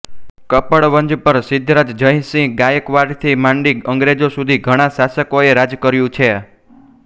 કપડવંજ પર સિદ્ધરાજ જયસિંહ ગાયકવાડથી માંડી અંગ્રેજો સુધી ઘણા શાસકોએ રાજ કર્યું છે